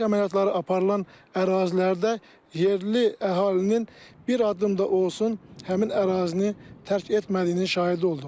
Döyüş əməliyyatları aparılan ərazilərdə yerli əhalinin bir addım da olsun həmin ərazini tərk etmədiyinin şahidi olduq.